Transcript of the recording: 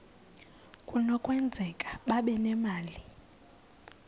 kunokwenzeka babe nemali